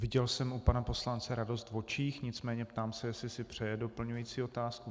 Viděl jsem u pana poslance radost v očích, nicméně ptám se, jestli si přeje doplňující otázku.